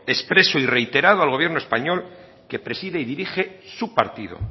expreso y reiterado al gobierno español que preside y dirige su partido